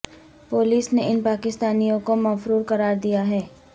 police نے ان پاکستانیوں کو مفرور قرار دیا ہے